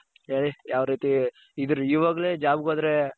ಹೇಳಿ ಯಾವ್ ರೀತಿ ಇದರ ಇವಾಗ್ಲೆ jobಗೆ ಹೋದರೆ .